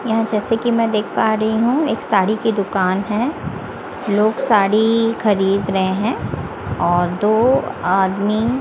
यहां जैसे कि मैं देख पा रही हूं एक साड़ी की दुकान है लोग साड़ी खरीद रहे हैं और दो आदमी--